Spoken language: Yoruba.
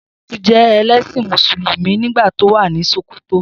Shaibu jẹ ẹlẹ́ṣin Mùsùlùmí nígbà tí ó wà ní Sòkòtò